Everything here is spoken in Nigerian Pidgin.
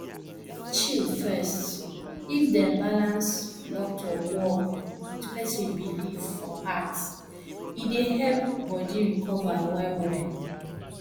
chill first if dem balance doctor work with person belief for heart e dey help body recover well well